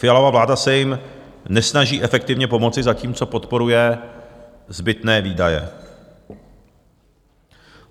Fialova vláda se jim nesnaží efektivně pomoci, zatímco podporuje zbytné výdaje.